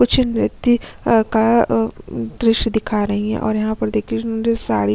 कुछ नृत्य का अम दृश्य दिखा रही है और अम यहाँ पर देखिये साड़ी--